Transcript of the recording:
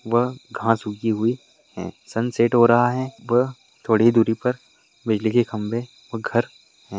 वह घास उगी हुई है सनसेट हो रहा है व थोड़ी दूरी पर बिजली के खंबे व घर है ।